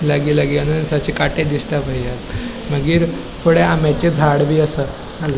लागी लागी अननसाचे कांटे दिसता वयल्यान मागिर फुड़े आम्याचे झाड बी आसा --